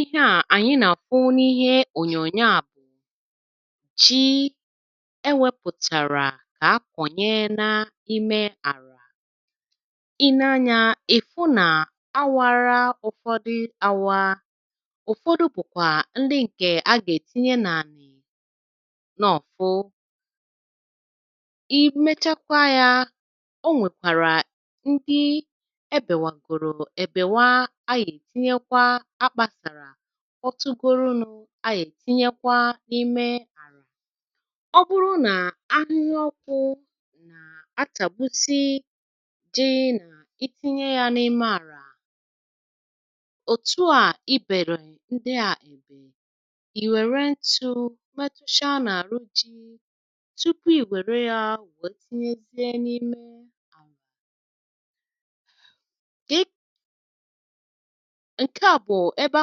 Ihe à ànyị nà-àfụ n’ihe ònyònyo à bụ̀ ji, ewėpụ̀tàrà kà a kọ̀nye na-ime àrà, i nee anyȧ ì fụ nà a wara ụ̀fọdụ àwa, ụ̀fọdụ bụ̀kwà ndị ǹkè a gà-ètinye n’ànị̀ nọ̀ọfụ, imechakwa ya o nwekwara ndị ebewagoro ebewa a ya-etinyekwa akpasara kpọtụgoro nụ ayị̀ ètinyekwa n’ime àlà. ọ bụrụ nà ahihie ọkụ̇ nà àchàgbusi ji n’itinye yȧ n’ime àlà òtù à ibèli ndị à ibè, ìwère ntụ̇ metụsia nà-àrụ ji tupu ìwère yȧ we tinyezie n’ime nkà bụ ebe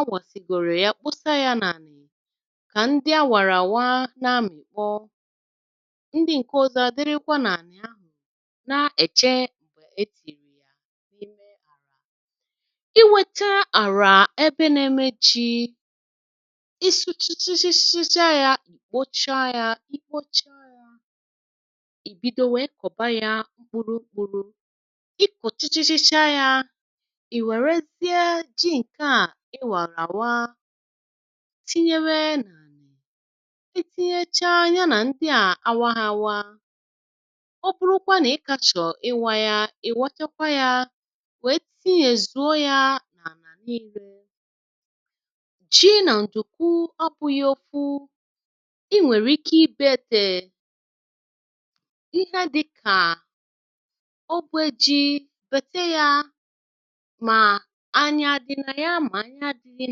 awasigoro ya kpụsa yȧ n’àlà kà ndị a wàràwa nȧ-ȧmị̀kpọ, ndi ǹkè ọzọ̇ dịrịkwa n’àlà ahụ̀ nȧ-ėchė ètìm iweta àrà ebe nȧ-eme ji ịsụ̇(um) chichichicha yȧ, ì kpocha yȧ, ikocha yȧ ì bido wèe kọ̀ba yȧ ùkpùrù ùkpùrù i kọ̀chichi chichaa yȧ iwerezie ji nkà iwara awa, tinyewee n'ara, itinyechaa ya nà ndị à awa ha waa ọbụ̀kwà na ịkȧchọ̀ ịwȧ ya, ị̀ wachakwa ya wèe tinye zùo ya nà arà niile, jii nà ǹtùkwu abụghi ofu i nwèrè ike ibeėtèè ihe dịkà ogbo ji betee yaa, ma anya adina ya ma anya adịghị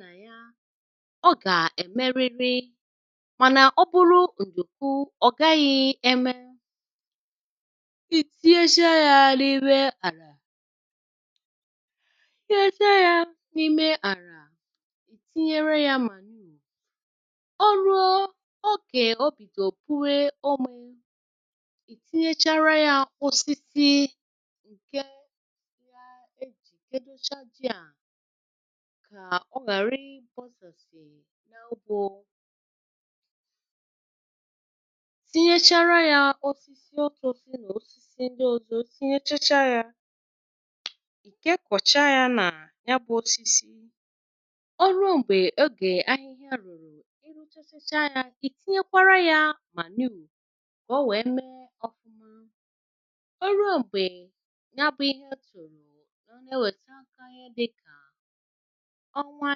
na ya, ọ gà-èmerịrị mànà ọ bụrụ ǹdukwu ọ̀ gaghị̇ eme, ìtíyesia ya n'ime àlà, iteyesia ya n'ime ala, tinyere ya manuu, ọ ruo ogè obìdò pubee omė, ìtinyechara ya osisi ǹke ya ejì kèdecha ji a ka ọ ghàrị posàsì n’ugbo tinyechara ya osisi òtosi na osisi nà osisi ndị ozo tinyechacha yȧ, ìkekọ̀chaa yȧ nà nyabụ̇ osisi, ọ rụo m̀gbè ogè ahị̇hia rụ̀rụ̀ iruchacha yȧ, ìtinyekwara yȧ mànuù kà o wee mee ọfụma, ọ rụọ m̀gbè nyabụ̇ ihe otùro kà o nà-ewète aka ihe dịkà ọwa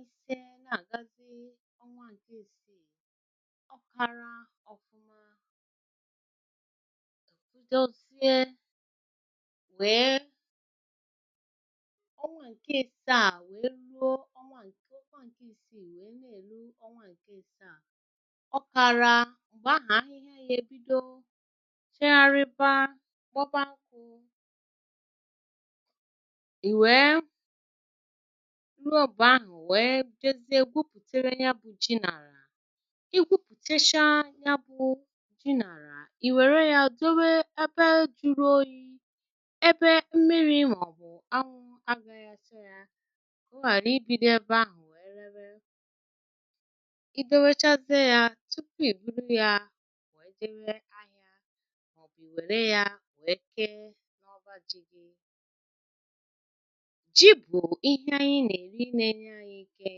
ìse nà àgazi ọnwa ìsiiì ọ̀ kara ọ̀fụma, ọnwa nke ìsii wèe ne-èru ọnwa ǹke asaa, ọ̀kàrà m̀gbe ahụ̀ ahịhịa ya ebido chegharịba kpoba nkụ, i wee ruo mgbe ahụ iwee jezie gwùputėbe ya bụ̇ ji n'ala, i gwupùtėsia ya bụ̇ ji n'ala ì wère ya dowe ebe juru̇ oyi̇ ebe mmiri̇ màọ̀bụ̀ anwụ agȧghi acha ya ka ọ ghàra ibìdo ebe ahụ̀ wèe rėėbe, i dowechazė ya tupu ì buru ya wee gabe ahịȧ màọ̀bụ̀ ì wère ya wee kee n’ọba. ji bu ihe ànyị na-eri na-enye anyị ike,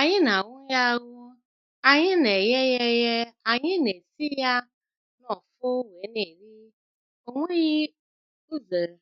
anyị nà-àhụ ya ahụ ànyị nà-èghe ya eghe, ànyị nà-èsi ya noọ̀fụ wee nà-èri ò nweghi uzèrè.........